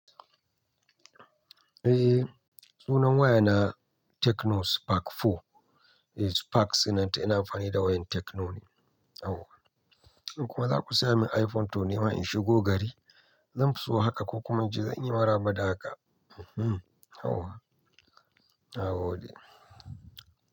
Eh sunan waya na Tecno Spark Four. Eh Spark sunanta ina amfani da wayan Tecno ne. Au in kuma za ku saya min iPhone to nima in shigo gari, zan so haka ko kuma ince zanyi maraba da haka. E hmm au. Nagode.